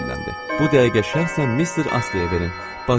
Bu dəqiqə şəxsən mister Astleyə verin.